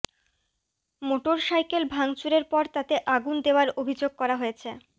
motorcycle ভাঙচুরের পর তাতে আগুন দেওয়ার অভিযোগ করা হয়েছে